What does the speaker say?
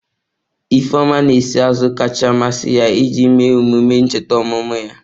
Ifeoma na-esi azụ kacha amasị ya iji mee emume ncheta ọmụmụ ya.